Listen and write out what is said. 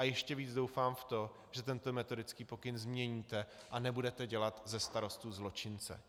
A ještě víc doufám v to, že tento metodický pokyn změníte a nebudete dělat ze starostů zločince.